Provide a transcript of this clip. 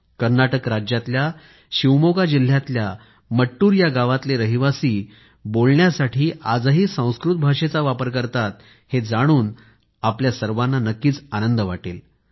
कर्नाटक राज्यातल्या शिवमोगा जिल्ह्यातल्या मट्टूर या गावातले रहिवासी बोलण्यासाठी आजही संस्कृत भाषेचा वापर करतात हे जाणून आपल्या सर्वांना नक्कीच आनंद वाटेल